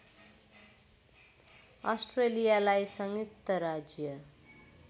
अस्ट्रेलियालाई संयुक्त राज्य